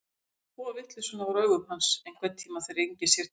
Ég skal þvo vitleysuna úr augum hans, einhverntíma þegar enginn sér til.